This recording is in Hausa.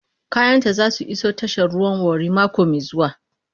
Kayanta za su iso tashar ruwan Warri mako mai zuwa.